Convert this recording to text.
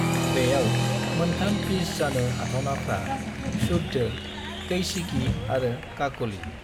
बेयाव मोनथाम पिच जानो हाथावनाफ्रा शुद्ध, कैशिकी आरो काकली।